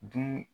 Di